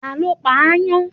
Ta ló pa ááyán?